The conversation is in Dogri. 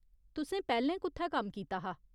तुसें पैह्‌लें कु'त्थै कम्म कीता हा ?